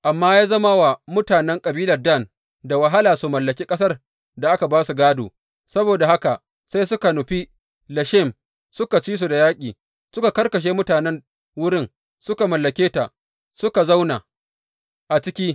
Amma ya zama wa mutanen kabilar Dan da wahala su mallaki ƙasar da aka ba su gādo, saboda haka sai suka nufi Leshem suka ci su da yaƙi, suka karkashe mutanen wurin, suka mallake ta, suka zauna a ciki.